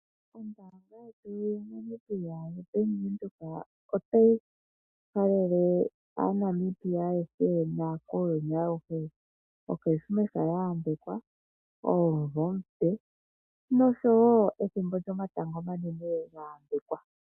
Ombaanga yetu yaNamibia yoBank Windhoek otayi halele aaNamibia ayehe naakuuyuni awuhe okrismesa ya yambekwa, omumvo omupe noshowo ethimbo lyomatango omanene lya yambekwa.